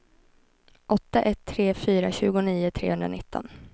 åtta ett tre fyra tjugonio trehundranitton